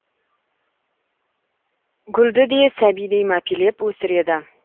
гүлді де сәбидей мәпелеп өсіреді